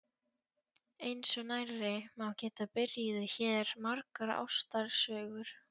Eins og nærri má geta byrjuðu hér margar ástarsögur.